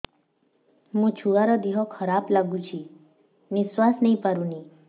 ମୋ ଛୁଆର ଦିହ ଖରାପ ଲାଗୁଚି ନିଃଶ୍ବାସ ନେଇ ପାରୁନି